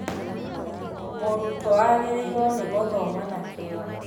Mũrutwo agĩrĩirwo nĩ gũthoma na kĩyo